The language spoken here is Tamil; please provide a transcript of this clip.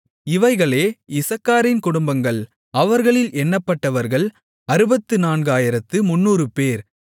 இவைகளே இசக்காரின் குடும்பங்கள் அவர்களில் எண்ணப்பட்டவர்கள் அறுபத்து 64300 பேர்